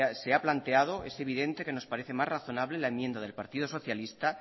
se ha planteado es evidente que nos parece más razonable la enmienda del partido socialista